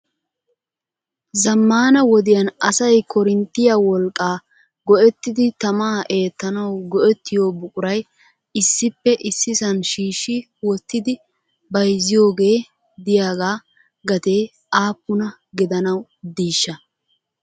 Zammana wodiyaan asay koorinttiya wolqqaa go"ettidi tamaa eettanawu go"ettiyo buquray issippe issisan shiishshi wottidi bayzziyooge de'iyaaga gatee aappuna gidanawu diishsha?